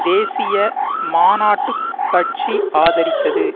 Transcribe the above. தேசிய மாநாட்டு கட்சி ஆதரித்தது